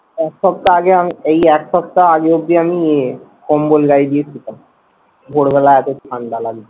এক সপ্তাহ আগে আমি এই এক সপ্তাহ আগে অবধি আমি ইয়ে কম্বল গায়ে দিয়ে ছিলাম। ভোর বেলা এতো ঠান্ডা লাগতো।